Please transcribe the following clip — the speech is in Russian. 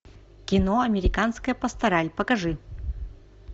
кино американская пастораль покажи